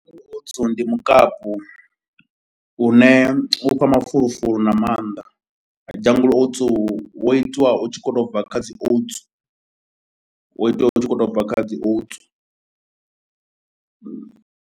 Oats ndi mukapu une u fha mafulufulu na maanḓa, Jungle oats wo itiwa u tshi khou tou bva kha dzi oats, wo itwa u tshi khou tou bva kha dzi oats.